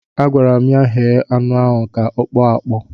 Agwara m ya, ghee anụ ahụ ka ọ kpọọ akpọọ!